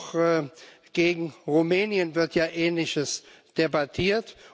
Und auch gegen Rumänien wird ja Ähnliches debattiert.